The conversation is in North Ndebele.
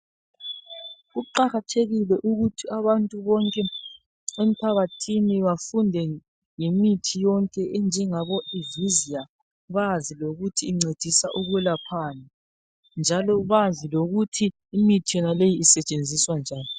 Kuqakathekile ukuthi abantu bonke emphakathini bafunde ngemithi yonke enjengabo ivizia bazi lokuthi incedisa ukwelaphani njalo bazi lokuthi imithi yonaleyi isetshenziswa njani.